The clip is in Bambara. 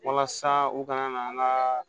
Walasa u kana na an ka